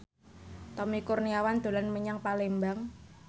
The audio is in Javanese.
Tommy Kurniawan dolan menyang Palembang